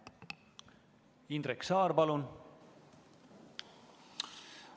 Indrek Saar, palun!